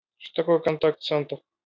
что такое контакт-центр